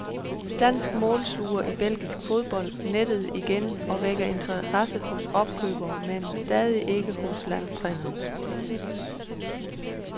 Dansk målsluger i belgisk fodbold nettede igen og vækker interesse hos opkøberne, men stadig ikke hos landstræneren.